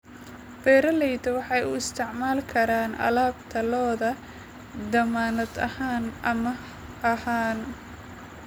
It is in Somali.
Beeralayda waxay u isticmaali karaan alaabta lo'da dammaanad ahaan amaah ahaan.